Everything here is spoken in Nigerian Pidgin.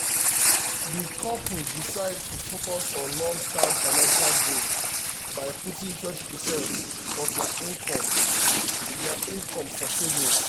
di couple decide to focus on long-term financial goals by putting 20 percent of dia income dia income for savings.